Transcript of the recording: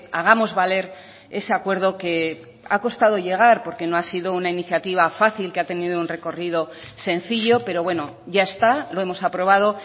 hagamos valer ese acuerdo que ha costado llegar porque no ha sido una iniciativa fácil que ha tenido un recorrido sencillo pero bueno ya está lo hemos aprobado